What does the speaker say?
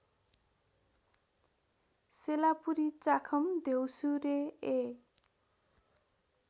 सेलापुरी चाखम द्यौसुरे ए